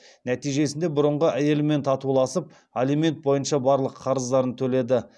нәтижесінде бұрынғы әйелімен татуласып алимент бойынша барлық қарыздарын төледі